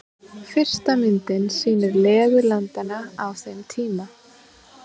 Fyrsta myndin sýnir legu landanna á þeim tíma.